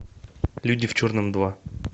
люди в черном два